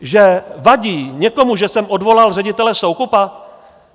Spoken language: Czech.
Že vadí někomu, že jsem odvolal ředitele Soukupa?